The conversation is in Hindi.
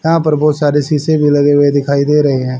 यहां पर बहोत सारे शीशे भी लगे हुए दिखाई दे रही हैं।